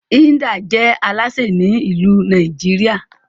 Hilda je Alásè Ni ilu Nàìjíríà